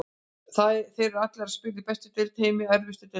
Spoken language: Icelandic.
Þeir eru allir að spila í bestu deild í heimi, erfiðustu deildinni.